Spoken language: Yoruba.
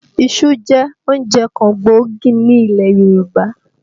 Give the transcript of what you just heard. Iṣu jẹ́ oúnjẹ kan gbòógì nílẹ̀ Yorùbá